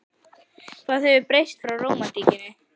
Hvað hefur breyst frá rómantíkinni?